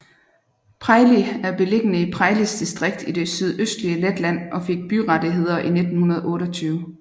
Preiļi er beliggende i Preiļis distrikt i det sydøstlige Letland og fik byrettigheder i 1928